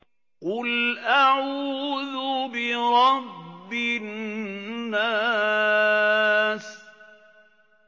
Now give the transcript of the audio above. قُلْ أَعُوذُ بِرَبِّ النَّاسِ